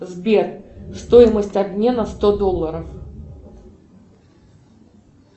сбер стоимость обмена сто долларов